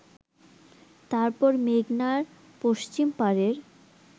তারপর মেঘনার পশ্চিম পারের